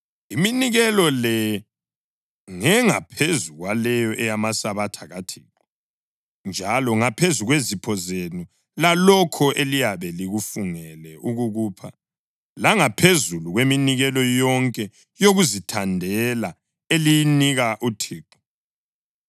Iminikelo le ngengaphezu kwaleyo eyamaSabatha kaThixo njalo ngaphezu kwezipho zenu lalokho eliyabe lifungele ukukupha langaphezulu kweminikelo yonke yokuzithandela eliyinika uThixo.)